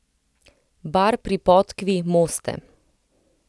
Bar pri podkvi, Moste.